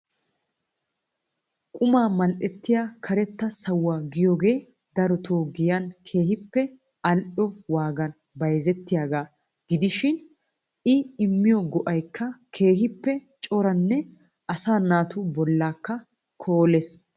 quma mal''ettiya karetta sawuwaa giyooge darotoo giyan keehippe al''o waagan bayzzetiyaaga gidishin I immiyo go''aykka keehippe ciraanne asaa naatu bollakka koolees.